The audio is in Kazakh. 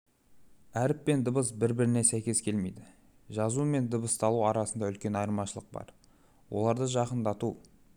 әріп пен дыбыс бір-біріне сәйкес келмейді жазу мен дыбысталу арасында үлкен айырмашылық бар оларды жақындату